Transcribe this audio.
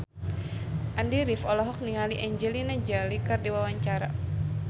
Andy rif olohok ningali Angelina Jolie keur diwawancara